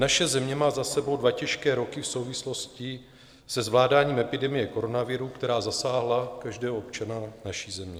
Naše země má za sebou dva těžké roky v souvislosti se zvládáním epidemie koronaviru, která zasáhla každého občana naší země.